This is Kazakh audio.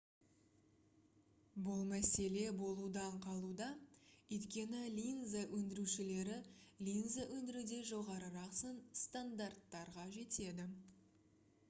бұл мәселе болудан қалуда өйткені линза өндірушілері линза өндіруде жоғарырақ стандарттарға жетеді